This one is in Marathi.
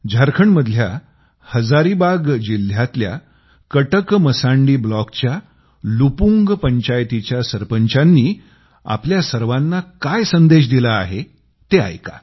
झारखंडमधल्या हजारीबाग जिल्ह्यातल्या कटकमसांडी ब्लॉकच्या लुपुंग पंचायतीच्या सरपंचांनी आपल्या सर्वांना काय संदेश दिला आहे ते ऐका